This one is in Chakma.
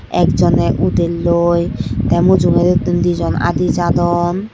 ek joney udelloi tey mujungedi tun dijon adi jadon.